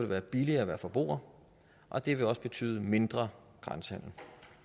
være billigere at være forbruger og det vil også betyde mindre grænsehandel